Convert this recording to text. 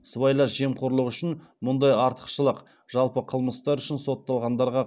сыбайлас жемқорлық үшін мұндай артықшылық жалпы қылмыстар үшін сотталғандарға